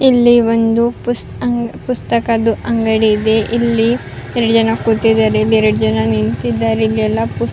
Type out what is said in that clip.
ಇಲ್ಲಿ ಒಂದು ಪುತ ಪುಸ್ತಕದು ಅಂಗಡಿ ಇದೆ ಇಲ್ಲಿ ಎರ್ಡ್ ಜನ ಕುಂತಿದ್ದರೆ ಎರ್ಡ್ ಜನ ನಿಂತಿದ್ದಾರೆ ಇಲ್ಲಿ ಎಲ್ಲ ಪುಸ್ತಕ--